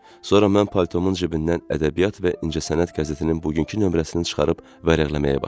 Sonra mən paltomun cibindən ədəbiyyat və incəsənət qəzetinin bugünkü nömrəsini çıxarıb vərəqləməyə başladım.